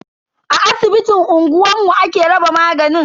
A asibitin unguwanmu ake raba maganin.